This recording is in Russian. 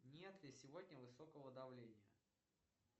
нет ли сегодня высокого давления